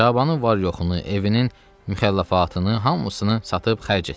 Şabanın var-yoxunu, evinin müxəlləfatını hamısını satıb xərc etdilər.